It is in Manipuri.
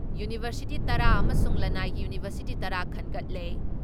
ꯌꯨꯅꯤꯚꯔꯁꯤꯇꯤ ꯇꯔꯥ ꯑꯃꯁꯨꯡ ꯂꯟꯅꯥꯏꯒꯤ ꯌꯨꯅꯤꯚꯔꯁꯤꯇꯤ ꯇꯔꯥ ꯈꯟꯒꯠꯂꯦ ꯫